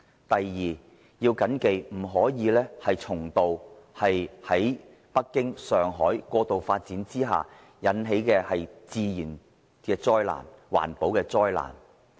第二，不可以重蹈北京、上海過度發展之下引起的自然及環保災難的覆轍。